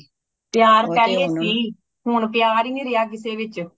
ਪਿਆਰ ਪਹਲੇ ਸੀ ਹੁਣ ਪਿਆਰ ਹੀ ਨੀ ਰੇਯਾ ਕਿਸੀ ਵਿਚ